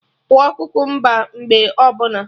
Kwọọ kukumba mgbe ọbụla